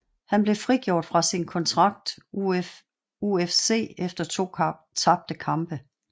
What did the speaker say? Han blev frigjort fra sin kontrakt UFC efter to tabte kampe